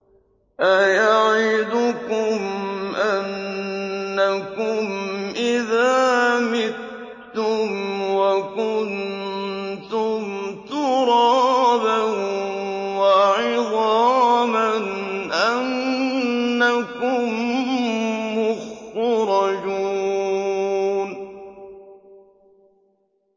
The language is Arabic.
أَيَعِدُكُمْ أَنَّكُمْ إِذَا مِتُّمْ وَكُنتُمْ تُرَابًا وَعِظَامًا أَنَّكُم مُّخْرَجُونَ